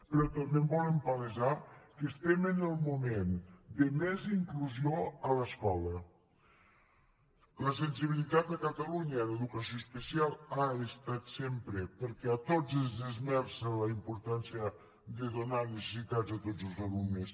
però també volem palesar que estem en el moment de més inclusió a l’escola la sensibilitat a catalunya en educació especial ha estat sempre perquè a tots ens esmerça la importància de donar necessitats a tots els alumnes